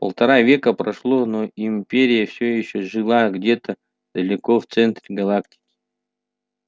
полтора века прошло но империя всё ещё жила где-то далеко в центре галактики